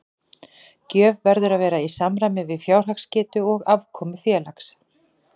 Gjöf verður að vera í samræmi við fjárhagsgetu og afkomu félags.